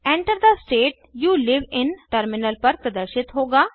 Enter the state you live in terminal पर प्रदर्शित होगा